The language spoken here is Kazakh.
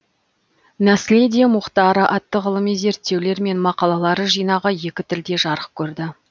наследие мухтара атты ғылыми зерттеулер мен мақалалар жинағы екі тілде жарық көрді